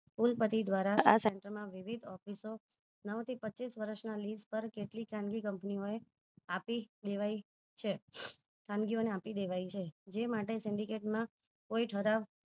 કુલ પતિ દ્વારા આ center માં વિવિધ office ઓ નવ થી પચ્ચીસ વર્ષ ના લીસ પર કેટલી ખાનગી company ઓ આપી દેવાઈ છે ખાનગી ઓ ને આપી દેવાઈ છે જે માટે syndicate મા કોઈ